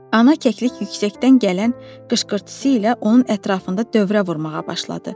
Ana kəklik yüksəkdən gələn qışqırtısı ilə onun ətrafında dövrə vurmağa başladı.